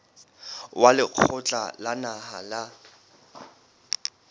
wa lekgotla la naha la